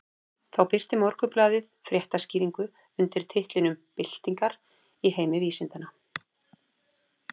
Þá birti Morgunblaðið fréttaskýringu undir titlinum Byltingar í heimi vísindanna.